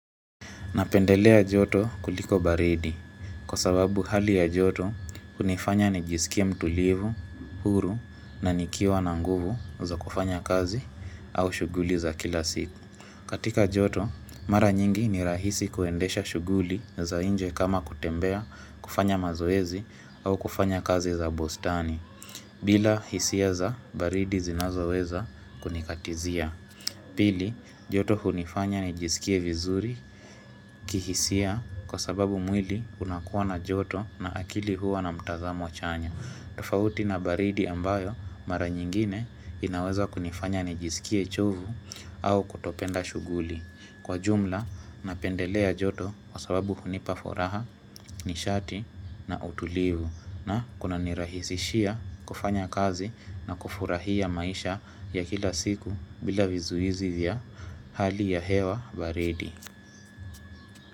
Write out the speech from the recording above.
Napendelea joto kuliko baridi kwa sababu hali ya joto unifanya nijisikie mtulivu, huru na nikiwa na nguvu za kufanya kazi au shuguli za kila siku. Katika joto, mara nyingi ni rahisi kuendesha shuguli za inje kama kutembea, kufanya mazoezi au kufanya kazi za bustani bila hisia za baridi zinazoweza kunikatizia. Pili, joto hunifanya nijisikie vizuri kihisia kwa sababu mwili unakuwa na joto na akili huwa na mtazamo chanya. Tofauti na baridi ambayo mara nyingine inaweza kunifanya nijisikie chovu au kutopenda shuguli. Kwa jumla, napendelea joto kwa sababu hunipa furaha, nishati na utulivu. Na kunanirahisishia kufanya kazi na kufurahia maisha ya kila siku bila vizuizi vya hali ya hewa baridi.